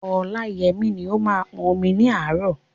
Ọláyẹmí ni ó máa ń pọn omi ní àárọ̀.